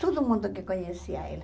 Todo mundo que conhecia ela.